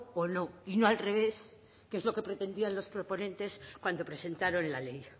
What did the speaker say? o no y no al revés que es lo que pretendían los proponentes cuando presentaron la ley